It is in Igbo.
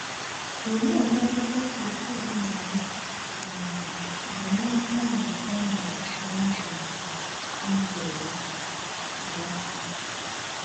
Olee mmetụta Christine na - enwe um banyere mgbanwe o mere ná ndụ ndụ ya?